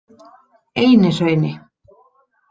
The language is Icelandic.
Einihrauni